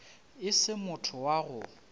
e se motho wa go